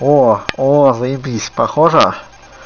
о о заебись похожа